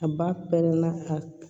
A ba pɛrɛnna ka